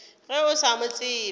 ge o sa mo tsebe